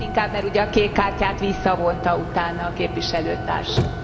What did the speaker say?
Annál is inkább, mert ugye a kék kártyát visszavonta utána képviselőtársunk.